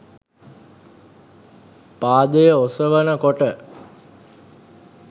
පාදය ඔසවන කොට